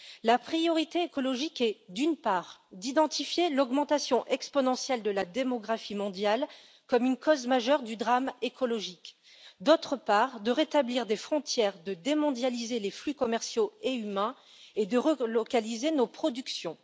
La priorité écologique est, d'une part, d'identifier l'augmentation exponentielle de la démographie mondiale comme une cause majeure du drame écologique et, d'autre part, de rétablir des frontières, de démondialiser les flux commerciaux et humains et de relocaliser nos productions.